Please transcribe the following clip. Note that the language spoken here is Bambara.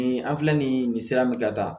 Nin an filɛ nin ye nin sira min ka ca